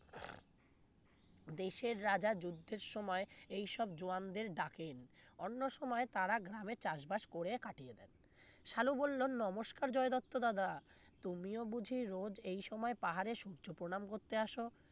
দেশের রাজা যুদ্ধের সময় এসব জওয়ানদের ডাকেন অন্য সময় তারা গ্রামে চাষবাস করে কাটিয়ে দেন সালু বললো নমস্কার জয় দত্ত দাদা তুমিও বুঝি রোজ এই সময় পাহাড়ে সূর্য প্রণাম করতে আসো